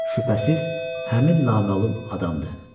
Şübhəsiz, həmin naməlum adamdır.